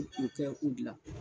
K'o gilan.